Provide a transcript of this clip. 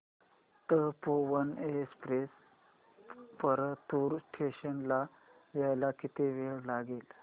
Tapovan express Partur station ला यायला किती वेळ लागेल